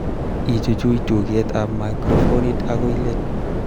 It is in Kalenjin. Ichuch tugetab microfonit akoi let